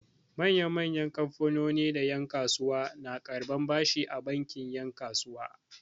Manya-manyan kamfanoni da yan'kasuwa na karɓan bashi a bankin 'yan kasuwa.